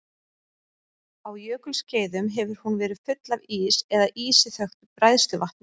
Á jökulskeiðum hefur hún verið full af ís eða ísi þöktu bræðsluvatni.